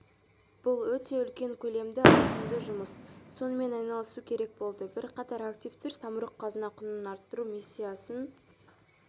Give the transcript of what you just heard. бұл өте үлкен көлемді ауқымды жұмыс сонымен айналысу керек болды бірқатар активтер самұрық-қазына құнын арттыру миссиясын